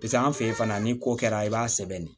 Piseke an fɛ yen fana ni ko kɛra i b'a sɛbɛn de